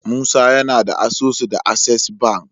musa yAna da asusu da access banki